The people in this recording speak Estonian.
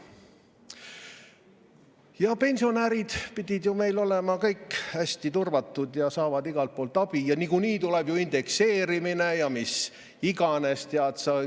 Ja pensionärid pidid ju meil olema kõik hästi turvatud, saavad igalt poolt abi ja niikuinii tuleb ju indekseerimine ja mis iganes.